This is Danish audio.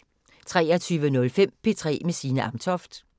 23:05: P3 med Signe Amtoft